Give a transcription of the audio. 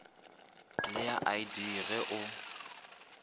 le ya id ge o